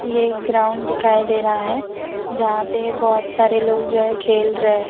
ये एक ग्राउंड दिखाई दे रहा है जहां पे बहोत सारे लोग जो है खेल रहे --